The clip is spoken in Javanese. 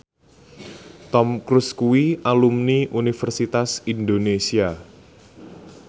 Tom Cruise kuwi alumni Universitas Indonesia